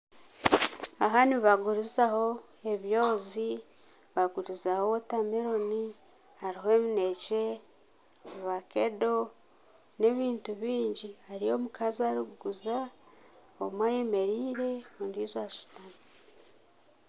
Aha nibagurizaho ebyozi, bagurizaho wotameroni, hariho eminekye, ovakedo n'ebintu bingi. Hariyo omukazi orikuguza omwe ayemereire ondiijo ashutami.